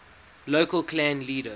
local clan leader